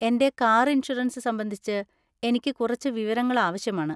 എന്‍റെ car insurance സംബന്ധിച്ച് എനിക്ക് കുറച്ച് വിവരങ്ങൾ ആവശ്യമാണ്.